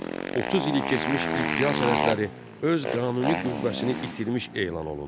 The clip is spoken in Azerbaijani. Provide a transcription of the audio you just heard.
30 illik keçmiş iddia sənədləri öz qanuni qüvvəsini itirmiş elan olundu.